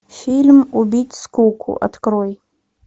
фильм убить скуку открой